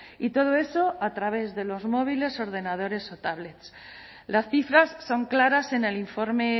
y todo eso a través de los móviles ordenadores o tablets las cifras son claras en el informe